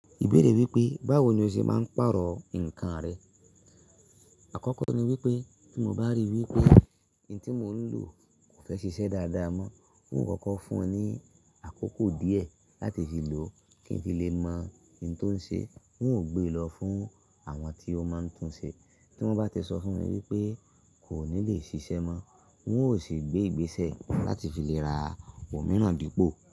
Ìbéèrè wípé báwo ni o ṣe máa ń pàrọ̀ ǹkan rẹ. Àkọ́kọ́ ni wípé tí mo bá rí i wípé ohun tí mò ń lò kò fẹ́ ṣiṣẹ́ dáadáa mọ́, n ó kọ́kọ́ fún un ní àkókò díẹ̀ láti fi lò kí ń fí lè mọ ohun tó ń ṣe. N ó gbé lọ fún àwọn tí ó máa ń tún un ṣe. Tí wọ́n bá ti sọ fún mi wípé kò ní le ṣiṣẹ́ mọ́, n ó sì gbé ìgbésẹ̀ láti fi lè ra omìíràn dípò.